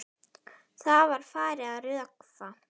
Það var farið að rökkva.